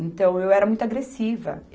Então, eu era muito agressiva.